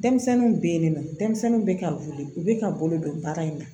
Denmisɛnninw bɛ yen nɔ denmisɛnninw bɛ ka wuli u bɛ ka bolo don baara in na